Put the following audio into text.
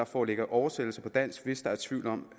foreligge oversættelse til dansk hvis der er tvivl om